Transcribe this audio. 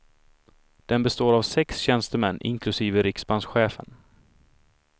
Den består av sex tjänstemän, inklusive riksbankschefen.